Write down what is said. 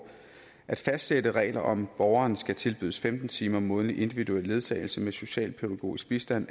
at fastsætte regler om borgeren skal tilbydes femten timers månedlig individuel ledsagelse med socialpædagogisk bistand